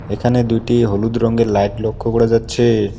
এখানে দুইটি হলুদ রঙের লাইট লক্ষ করা যাচ্ছে।